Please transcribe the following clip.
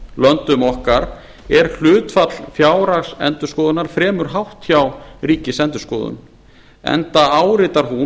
nágrannalöndum okkar er hlutfall fjárhagsendurskoðunar fremur hátt hjá ríkisendurskoðun enda áritar hún